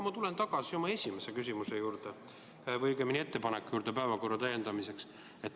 Ma tulen tagasi oma esimese küsimuse juurde või õigemini ettepaneku juurde päevakorda täiendada.